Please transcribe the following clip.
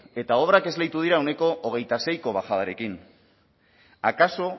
eta obrak esleitu dira ehuneko hamaseiko bajadarekin akaso